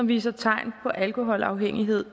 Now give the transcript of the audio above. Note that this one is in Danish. viser tegn på alkoholafhængighed